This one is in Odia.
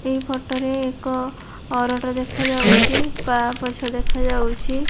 ଏଇ ଫୋଟରେ ଏକ ଅରଟ ଦେଖାଯାଉଚି ପାପଛ ଦେଖାଯାଉଛି।